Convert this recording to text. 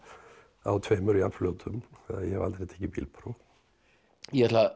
á tveimur jafnfljótum að ég hef aldrei tekið bílpróf ég ætla